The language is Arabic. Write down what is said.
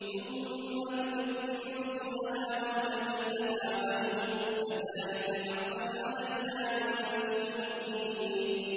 ثُمَّ نُنَجِّي رُسُلَنَا وَالَّذِينَ آمَنُوا ۚ كَذَٰلِكَ حَقًّا عَلَيْنَا نُنجِ الْمُؤْمِنِينَ